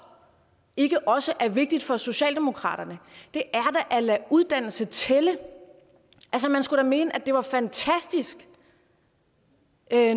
ikke også er vigtigt for socialdemokratiet er at lade uddannelse tælle man skulle da mene at det var fantastisk